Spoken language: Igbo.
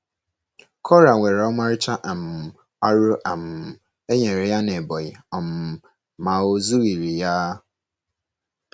Kora nwere ọmarịcha um ọrụ um e nyere ya n’Ebonyi um, ma o zughịrị ya.